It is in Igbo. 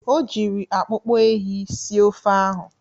O jiri akpụkpọ ehi sie ofe ahụ.